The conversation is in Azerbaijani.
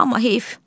Amma heyf.